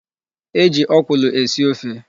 E ji ọkwụlụ esi ofe.